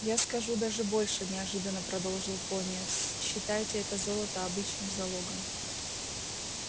я скажу даже больше неожиданно продолжил пониетс считайте это золото обычным залогом